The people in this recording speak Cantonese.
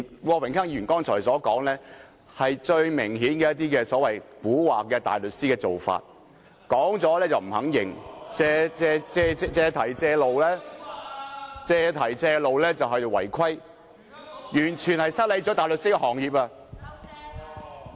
郭榮鏗議員剛才所說的話，明顯是一些所謂"蠱惑大律師"的做法，發言後又不肯承認，借題發揮，借機會違規，完全失禮大律師行業。